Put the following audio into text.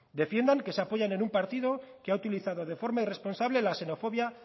defiendan que se apoyan en un partido que ha utilizado de forma irresponsable la xenofobia